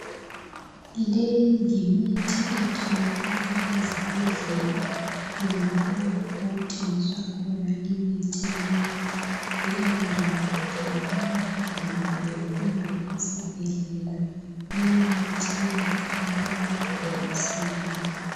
Leyi yimithi etholakala ezibhedlela kumbe lapho okuthengiswa khona imithi leyo. Leyo ndawo itholakala edolobheni kumbe esibhedlela. Leyo mithi iyabe ifakwe emabhokisini.